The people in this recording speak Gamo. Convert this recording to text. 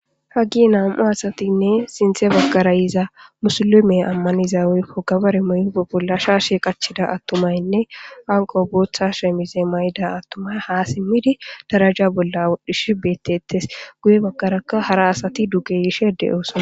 Hagee nam7u asathinne sinththe baggara yiza musulumiya ammaniza woykko gabare mayido bolla shaashe qachchida aththumaynne awukko booththa shemize mayiza aththumay haa simmidi daraja bolla wodhdhishee beeththeeththes; guye baggarakka hara asathi duge yishe de7oosona.